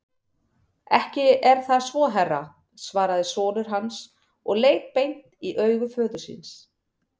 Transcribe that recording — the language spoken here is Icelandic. Ekki er það svo herra, svaraði sonur hans og leit beint í augu föður síns.